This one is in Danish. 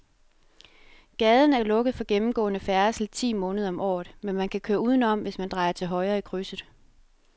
Gaden er lukket for gennemgående færdsel ti måneder om året, men man kan køre udenom, hvis man drejer til højre i krydset.